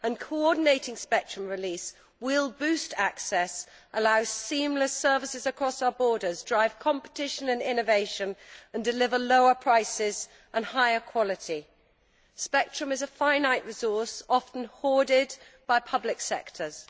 Coordinated spectrum release will boost access, allow seamless services across our borders, drive competition and innovation and deliver lower prices and higher quality. Spectrum is a finite resource often hoarded by public sectors.